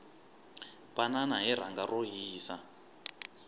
banana hi rhanga ro hisa